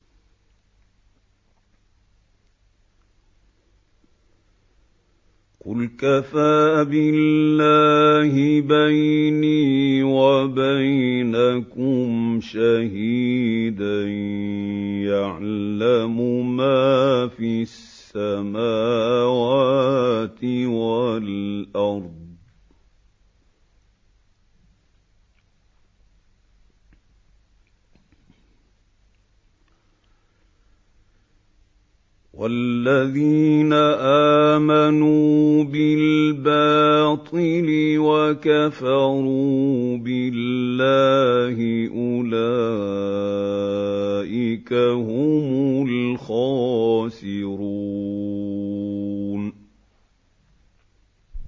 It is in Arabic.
قُلْ كَفَىٰ بِاللَّهِ بَيْنِي وَبَيْنَكُمْ شَهِيدًا ۖ يَعْلَمُ مَا فِي السَّمَاوَاتِ وَالْأَرْضِ ۗ وَالَّذِينَ آمَنُوا بِالْبَاطِلِ وَكَفَرُوا بِاللَّهِ أُولَٰئِكَ هُمُ الْخَاسِرُونَ